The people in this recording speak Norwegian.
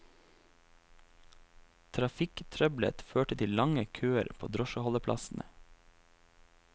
Trafikktrøbbelet førte til lange køer på drosjeholdeplassene.